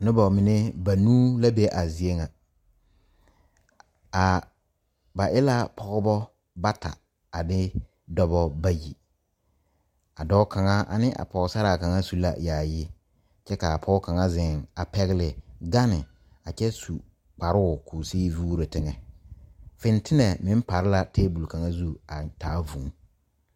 Noba mine banuu la be a zeɛ ŋa a ba e la pɔgeba bata a de dɔba bayi a dɔɔ kaŋa ane a pɔgesaraa kaŋa su la yaayi kyɛ k,a pɔge kaŋ zeŋ a pɛgle gane a kyɛ su kparoo k,o sigi vuuro teŋɛ fentelɛ meŋ pare la tabol kaŋa zu a taa vūū.